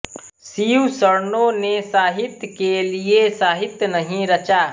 शिवशरणों ने साहित्य के लिए साहित्य नहीं रचा